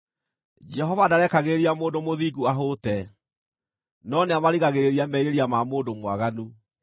Jehova ndarekagĩrĩria mũndũ mũthingu ahũte, no nĩamarigagĩrĩria merirĩria ma mũndũ mwaganu.